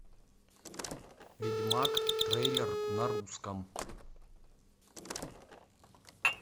ведьмак трейлер на русском